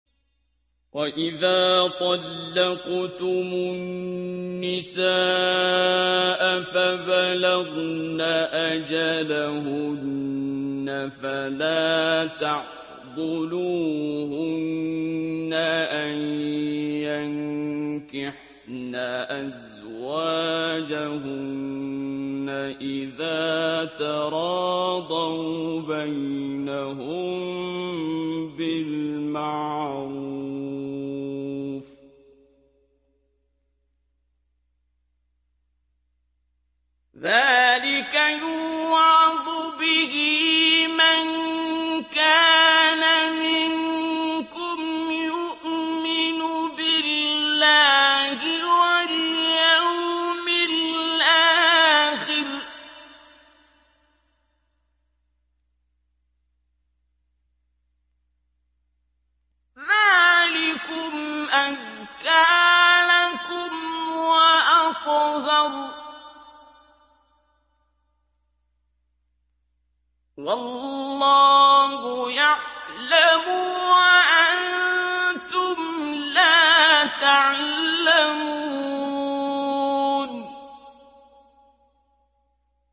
وَإِذَا طَلَّقْتُمُ النِّسَاءَ فَبَلَغْنَ أَجَلَهُنَّ فَلَا تَعْضُلُوهُنَّ أَن يَنكِحْنَ أَزْوَاجَهُنَّ إِذَا تَرَاضَوْا بَيْنَهُم بِالْمَعْرُوفِ ۗ ذَٰلِكَ يُوعَظُ بِهِ مَن كَانَ مِنكُمْ يُؤْمِنُ بِاللَّهِ وَالْيَوْمِ الْآخِرِ ۗ ذَٰلِكُمْ أَزْكَىٰ لَكُمْ وَأَطْهَرُ ۗ وَاللَّهُ يَعْلَمُ وَأَنتُمْ لَا تَعْلَمُونَ